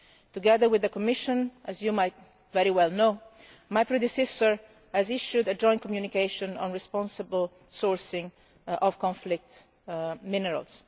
Together with the Commission, as you might very well know, my predecessor issued a Joint Communication on responsible sourcing of conflict minerals.